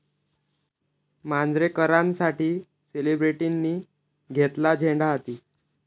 मांजरेकरांसाठी सेलिब्रिटींनी घेतला झेंडा हाती!